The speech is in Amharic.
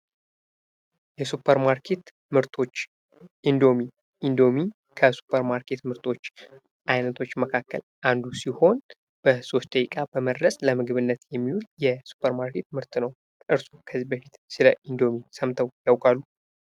የሱፐር ማርኬት ምርቶች እንዶሚ እንዶሚ ከሱፐር ማርኬት ምርቶች አይነቶች መካከል አንዱ ሲሆን በሶስት ደቂቃ በመድረስ ለምግብነት የሚውል የሱፐር ማርኬት ምርት ነው። እርሶ ከዚህ በፊት ስለ እንዶሚ ሰምተው ያውቃሉ?